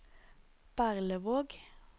Berlevåg